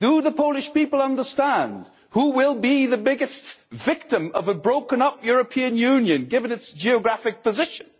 Do the Polish people understand which country will be the biggest victim of a broken up European Union, given its geographic position?